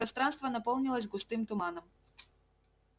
пространство наполнилось густым туманом